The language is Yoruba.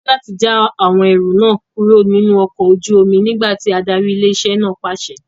A ní láti já àwọn ẹrù náà kúrò nínú ọkọ̀ ojú omi nígbà tí ádárì ilé-iṣẹ́ náà pàṣẹ.